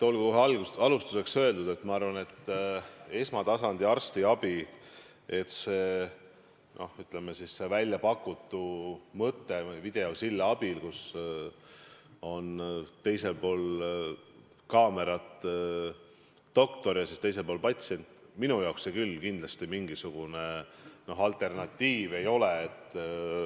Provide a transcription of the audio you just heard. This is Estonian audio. Olgu alustuseks öeldud, et see väljapakutud mõte videosillast, kus ühel pool kaamerat on doktor ja teisel pool patsient, minu jaoks küll kindlasti mingisugune alternatiiv ei ole.